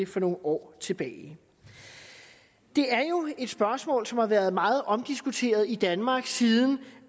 for nogle år tilbage det er jo et spørgsmål som har været meget omdiskuteret i danmark siden